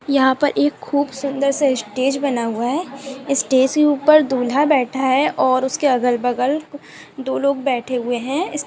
यहां पर खूब सुंदर सा स्टेज बना हुआ है स्टेज के ऊपर दूल्हा बैठा है और उसके अगल बगल दो लोग बैठे है हुए है।